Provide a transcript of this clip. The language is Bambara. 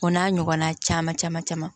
O n'a ɲɔgɔnna caman caman caman